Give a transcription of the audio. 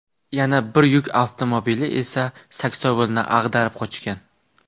Yana bir yuk avtomobili esa saksovulni ag‘darib qochgan.